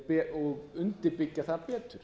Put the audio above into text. og undirbyggja það betur